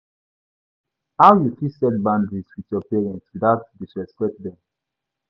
how you fit set boundaries with your parents without disrespect dem?